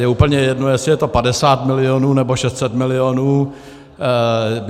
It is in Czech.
Je úplně jedno, jestli je to 50 milionů, nebo 600 milionů.